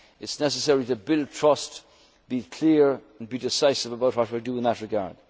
in our people's lives. It is necessary to build trust, be clear and be decisive about what